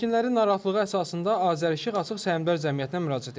Sakinlərin narahatlığı əsasında Azəreşıq Açıq Səhmdar Cəmiyyətinə müraciət etdik.